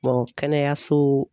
kɛnɛyaso